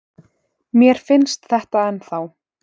Mér finnst þetta ennþá.